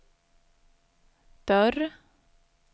dörr